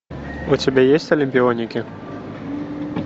у тебя есть олимпионики